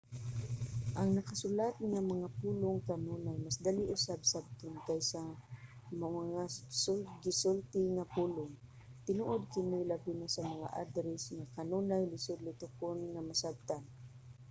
ang nakasulat nga mga pulong kanunay mas dali usab sabton kaysa mga gisulti na pulong. tinuod kini labi na sa mga adres nga kanunay lisud litokon nga masabtan